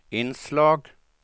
inslag